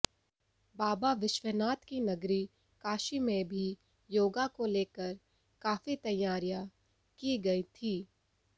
बाबा विश्वनाथ की नगरी काशी में भी योगा को लेकर काफी तैयारियां की गई थीं